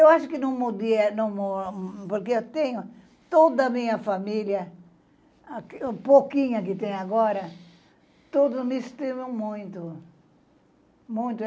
Eu acho que não, porque eu tenho toda a minha família, a pouquinha que tem agora, todos me estimam muito.